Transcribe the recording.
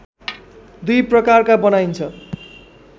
दुई प्रकारका बनाइन्छ